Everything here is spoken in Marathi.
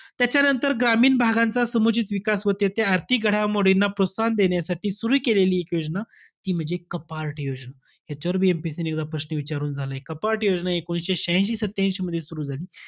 त्याच्यानंतर ग्रामीण भागांचा समुचित विकास व त्याचे आर्थिक घडामोडींना प्रोत्साहन देण्यासाठी सुरु केली एक योजना. ती म्हणजे कपार्ट योजना. याच्यावरबी MPSC ने एकदा प्रश्न विचारून झालय. कपार्ट योजना हि एकोणीशे श्याह्यांशी सत्त्यांशी मध्ये सुरु झाली.